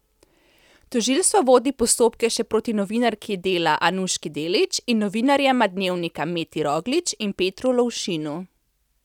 Tožilstvo vodi postopke še proti novinarki Dela Anuški Delić in novinarjema Dnevnika Meti Roglič in Petru Lovšinu.